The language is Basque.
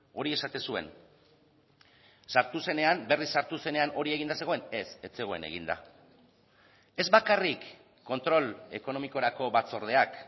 hori esaten zuen sartu zenean berriz sartu zenean hori eginda zegoen ez ez zegoen eginda ez bakarrik kontrol ekonomikorako batzordeak